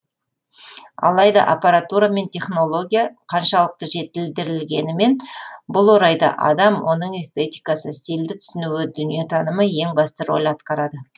алайда аппаратура мен технология қаншалықты жетілдірілгенімен бұл орайда адам оның эстетикасы стильді түсінуі дүниетанымы ең басты роль атқарады